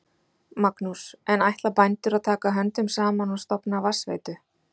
Magnús: En ætla bændur að taka höndum saman og stofna vatnsveitu?